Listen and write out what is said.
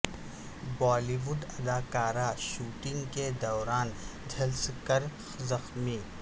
بالی would اداکارہ shooting کے دوران جھلس کر زخمی